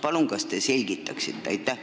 Palun selgitage!